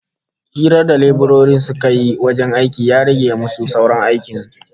Hirar da leburorin suka yi lokacin aikin ya rage musu saurin aikin